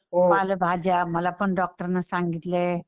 पालेभाज्या मलापण डॉक्टर नं सांगितलंय.